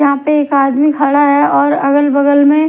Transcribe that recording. यहाँ पे एक आदमी खड़ा है और अगल बगल में--